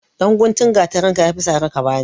Ɗan guntun gatarinka ya fi sari ka ba ni.